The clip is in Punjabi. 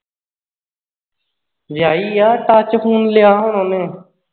ਵਿਆਹੀ ਆ touchphone ਲਿਆ ਹੁਣ ਉਹਨੇ